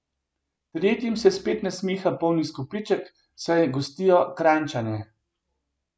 Tretjim se spet nasmiha poln izkupiček, saj gostijo Kranjčane.